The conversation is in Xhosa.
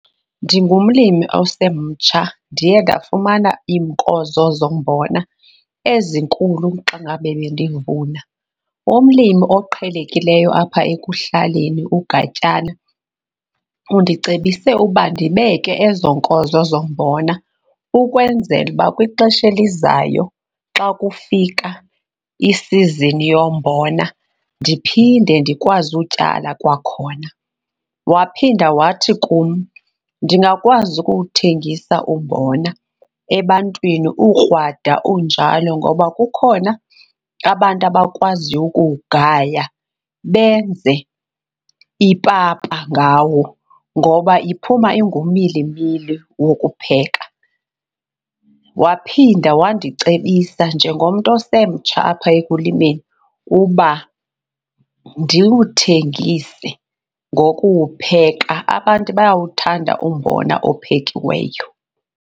Ndingumlimi osemtsha, ndiye ndafumana iinkozo zombona ezinkulu xa ngabe bendivuna. Umlimi oqhelekileyo apha ekuhlaleni kuGatyana undicebise uba ndibeke ezo nkozo zombona ukwenzela uba kwixesha elizayo xa kufika isizini yombona ndiphinde ndikwazi utyala kwakhona. Waphinda wathi kum ndingakwazi ukuwuthengisa umbona ebantwini ukrwada unjalo ngoba kukhona abantu abakwaziyo ukuwugaya benze ipapa ngawo, ngoba iphuma ingumilimili wokupheka. Waphinda wandicebisa njengomntu osemtsha apha ekulimeni uba ndiwuthengise ngokuwupheka, abantu bayawuthanda umbona ophekiweyo.